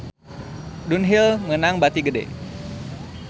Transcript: Dunhill meunang bati gede